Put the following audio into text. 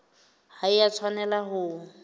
ha e a tshwanela ho